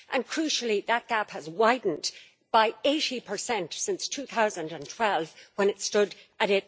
Crucially, that gap has widened by 80 since 2012, when it stood at